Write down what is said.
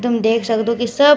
तुम देख सक्दो की सब --